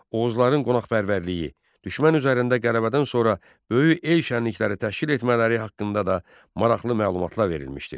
Oğuzların qonaqpərvərliyi, düşmən üzərində qələbədən sonra böyük el şənlikləri təşkil etmələri haqqında da maraqlı məlumatlar verilmişdir.